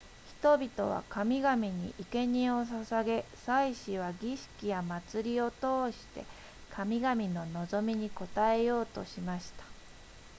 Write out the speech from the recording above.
人々は神々に生け贄を捧げ祭司は儀式や祭りを通して神々の望みに応えようとしました